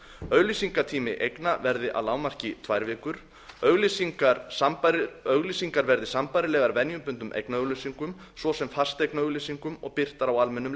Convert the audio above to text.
auglýsingatími eigna verði að lágmarki tvær vikur auglýsingar verði sambærilegar venjubundnum eignaauglýsingum svo sem fasteignaauglýsingum og birtar á almennum